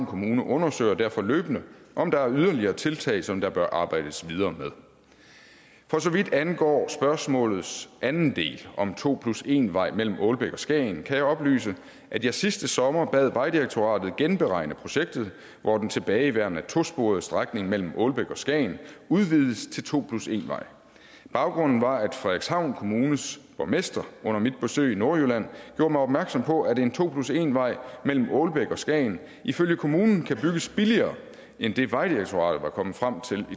kommune undersøger derfor løbende om der er yderligere tiltag som der bør arbejdes videre med for så vidt angår spørgsmålets anden del om en to plus en vej mellem aalbæk og skagen kan jeg oplyse at jeg sidste sommer bad vejdirektoratet genberegne projektet hvor den tilbageværende tosporede strækning mellem aalbæk og skagen udvides til to plus en vej baggrunden var at frederikshavn kommunes borgmester under mit besøg i nordjylland gjorde mig opmærksom på at en to plus en vej mellem aalbæk og skagen ifølge kommunen kan bygges billigere end det vejdirektoratet var kommet frem til